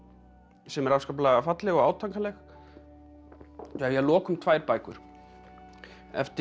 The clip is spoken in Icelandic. sem er afskaplega falleg og átakanleg að lokum tvær bækur eftir